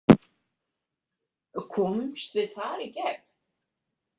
Komumst við þar í gegn?